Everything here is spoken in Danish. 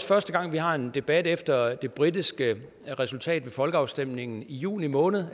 første gang vi har en debat efter det britiske resultat ved folkeafstemningen i juni måned